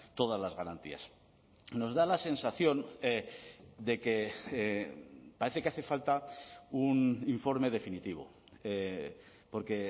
todas las garantías nos da la sensación de que parece que hace falta un informe definitivo porque